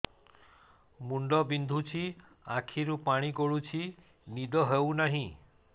ମୁଣ୍ଡ ବିନ୍ଧୁଛି ଆଖିରୁ ପାଣି ଗଡୁଛି ନିଦ ହେଉନାହିଁ